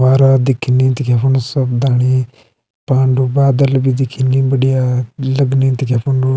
वारा दिखनी नि दिखे फुण्ड सब धाणी पांडू बादल भी दिखेंगीन बढ़िया लगनी दिखे फुण्डू।